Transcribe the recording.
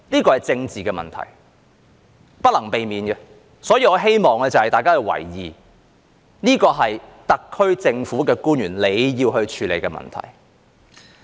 這是政治問題，是不能避免的，所以我希望大家留意，這是特區政府官員要處理的問題。